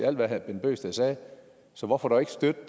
alt hvad herre bent bøgsted sagde så hvorfor dog ikke støtte